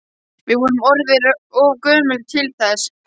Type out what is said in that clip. Við erum orðin of gömul til þess.